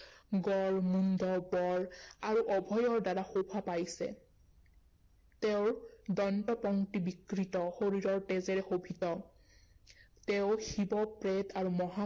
গড় মুণ্ড গড় আৰু অভয়ৰ দ্বাৰা শোভা পাইছে তেওঁৰ দন্তপংক্তি বিকৃত, শৰীৰৰ তেজেৰে শোভিত তেওঁ শিৱ প্ৰেত আৰু মহা